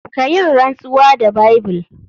Kayinrantsuwa da Bible.